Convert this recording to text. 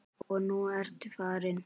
Og nú ertu farin.